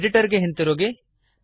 editor ಗೆ ಹಿಂದಿರುಗಿ